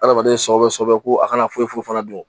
Adamaden sɔ bɛ sɛbɛ ko a kana foyi foyi fana dun